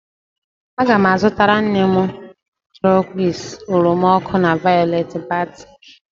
Aga m azụtara nne m turquoise, oroma ọkụ na violet batik